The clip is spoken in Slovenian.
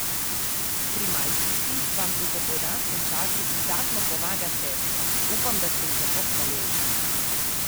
Pri malčici vam v popoldanskem času izdatno pomaga sestra, upam, da ste ji za to hvaležni.